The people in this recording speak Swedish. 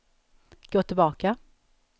gå tillbaka